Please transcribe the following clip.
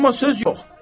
Amma söz yox.